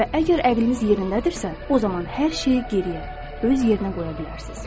Və əgər əqliniz yerindədirsə, o zaman hər şeyi geriyə öz yerinə qoya bilərsiniz.